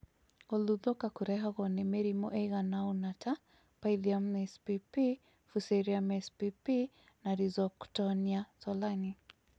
Gũthuthũka Kũrehagwo nĩ mĩrimũ ĩigana ũna ta, Pythium spp.Fusariumspp na Rhizoctoniasolani